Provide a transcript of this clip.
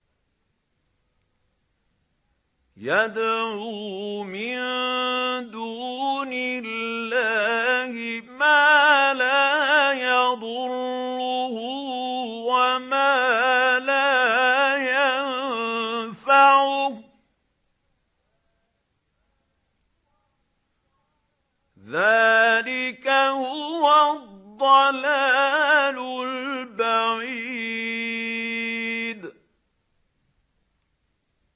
يَدْعُو مِن دُونِ اللَّهِ مَا لَا يَضُرُّهُ وَمَا لَا يَنفَعُهُ ۚ ذَٰلِكَ هُوَ الضَّلَالُ الْبَعِيدُ